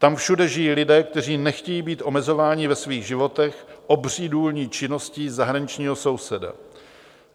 Tam všude žijí lidé, kteří nechtějí být omezováni ve svých životech obří důlní činností zahraničního souseda.